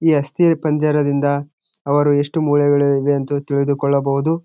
ಈ ಅಸ್ಥಿ ಪಂಜರದಿಂದ ಅವರು ಎಷ್ಟು ಮೂಳೆಗಳು ಇದೆ ಅಂತ ತಿಳಿದುಕೊಳ್ಳಬಹುದು.